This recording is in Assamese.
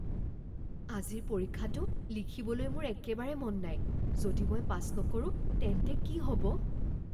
আজিৰ পৰীক্ষাটো লিখিবলৈ মোৰ একেবাৰে মন নাই। যদি মই পাছ নকৰো তেন্তে কি হ'ব?